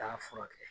Taa furakɛ